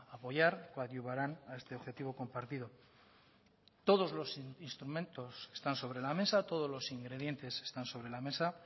apoyar coadyuvarán a este objetivo compartido todos los instrumentos están sobre la mesa todos los ingredientes están sobre la mesa